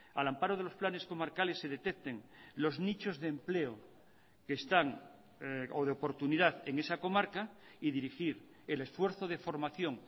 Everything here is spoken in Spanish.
al amparo de los planes comarcales se detecten los nichos de empleo que están o de oportunidad en esa comarca y dirigir el esfuerzo de formación